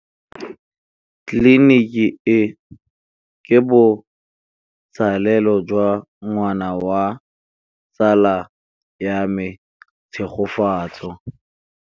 Tleliniki e, ke botsalêlô jwa ngwana wa tsala ya me Tshegofatso.